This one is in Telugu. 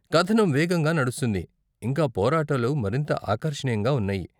కథనం వేగంగా నడుస్తుంది, ఇంకా పోరాటాలు మరింత ఆకర్షనీయంగా ఉన్నాయి.